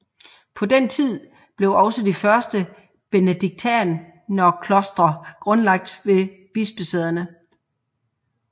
På den tid blev også de første benediktinerklostre grundlagt ved bispesæderne